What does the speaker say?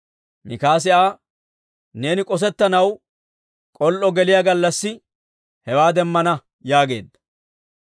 Mikaasi Aa, «Neeni k'osettanaw k'ol"o geliyaa gallassi hewaa demmana» yaageedda.